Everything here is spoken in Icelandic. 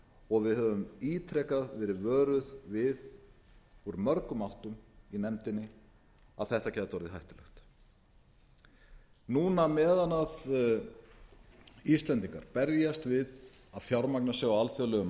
og við höfum ítrekað verið vöruð við úr mörgum áttum í nefndinni að þetta gæti orðið hættulegt núna meðan íslendingar berjast við að fjármagna sig á alþjóðlegum